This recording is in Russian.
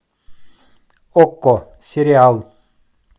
окко сериал